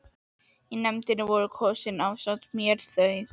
Í nefndina voru kosin ásamt mér þau